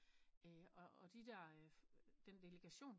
Og de der den delegation